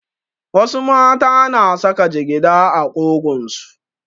Wasu mata na saka jigida a ƙugunsu.